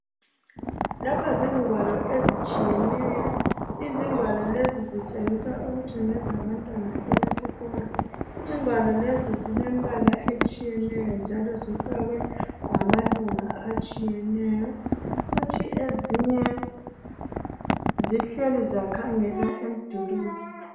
Lapha zigwalo ezitshiyeneyo izigwalo lezi zitshengisa ukuthi ngezabantwana abesikolo igwalo lezizilemibala etshiyeneyo njalo zifakwe ngamalunga atshiyeneyo kuthi ezinye zihleli zakhangela emdulini